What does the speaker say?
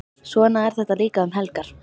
Svona er þetta líka um helgar.